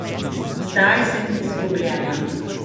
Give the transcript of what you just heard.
Zdaj sem izgubljena.